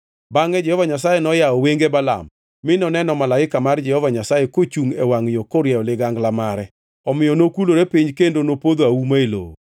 Bangʼe Jehova Nyasaye noyawo wenge Balaam, mi noneno malaika mar Jehova Nyasaye kochungʼ e wangʼ yo korieyo ligangla mare. Omiyo nokulore piny kendo nopodho auma e lowo.